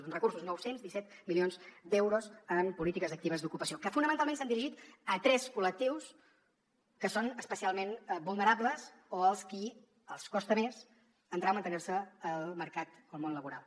doncs recursos nou cents i disset milions d’euros en polítiques actives d’ocupació que fonamentalment s’han dirigit a tres col·lectius que són especialment vulnerables o als qui els costa més entrar o mantenir se al mercat o al món laboral